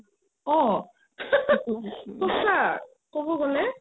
অ সচা ক'ব গ'লে